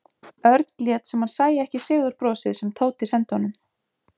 Örn lét sem hann sæi ekki sigurbrosið sem Tóti sendi honum.